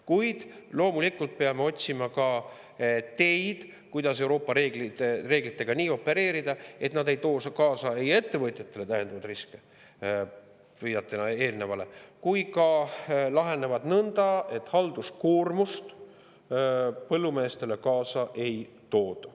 Kuid loomulikult peame otsima ka teid, kuidas Euroopa reeglitega nii opereerida, et nad ei too kaasa ettevõtjatele täiendavaid riske, viitan eelnevale, ning et lahenevad siin nõnda, et nad põllumeestele halduskoormust kaasa ei too.